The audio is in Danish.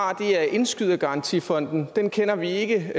har er indskydergarantifonden den kender vi ikke